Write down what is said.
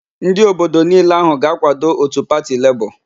Ndị obodo niile ahụ ga-akwado òtù pati Lebọọ.